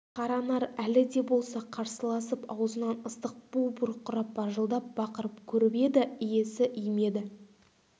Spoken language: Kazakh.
қаранар әлі де болса қарсыласып аузынан ыстық бу бұрқырап бажылдап бақырып көріп еді иесі иімеді